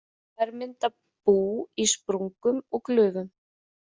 Þær mynda bú í sprungum og glufum.